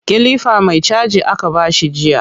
Kilifa mai caji aka ba shi jiya